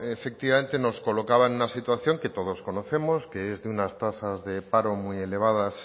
efectivamente nos colocaba en una situación que todos conocemos que es de unas tasas de paro muy elevadas